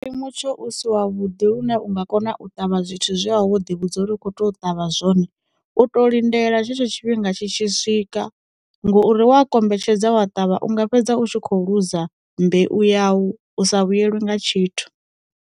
Mutsho u si wa vhuḓi lune unga kona u ṱavha zwithu zwe a wo ḓi vhudza uri u kho to ṱavha zwone, u to lindela tshetsho tshifhinga tshi tshi swika ngouri wa kombetshedza wa ṱavha, u nga fhedza u tshi kho luza mbeu ya u, u sa vhuyelwe nga tshithu.